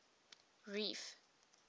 reef